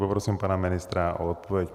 Poprosím pana ministra o odpověď.